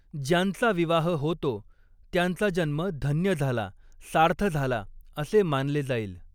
ज्यांचा विवाह होतो, त्यांचा जन्म धन्य झाला, सार्थ झाला असे मानले जाईल